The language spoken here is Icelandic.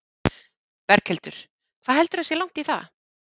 Berghildur: Hvað heldurðu að sé langt í það?